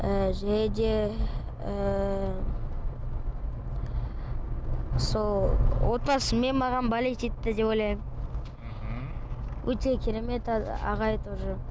ы және де ыыы сол отбасымен маған болеть етті деп ойлаймын мхм өте керемет ағай тоже